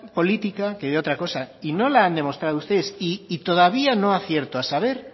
política que de otra cosa y no la han demostrado ustedes y todavía no acierto a saber